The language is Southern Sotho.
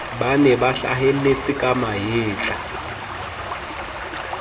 bane ba hlahelletseng ka mahetla